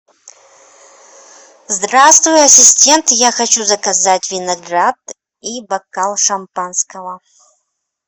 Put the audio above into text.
здравствуй ассистент я хочу заказать виноград и бокал шампанского